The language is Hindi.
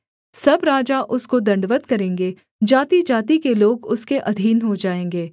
सब राजा उसको दण्डवत् करेंगे जातिजाति के लोग उसके अधीन हो जाएँगे